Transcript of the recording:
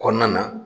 Kɔnɔna na